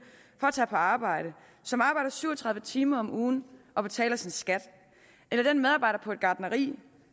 for at tage på arbejde som arbejder syv og tredive timer om ugen og betaler sin skat eller den medarbejder på et gartneri